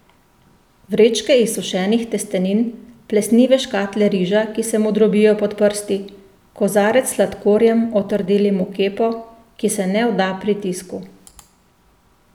Vrečke izsušenih testenin, plesnive škatle riža, ki se mu drobijo pod prsti, kozarec s sladkorjem, otrdelim v kepo, ki se ne vda pritisku.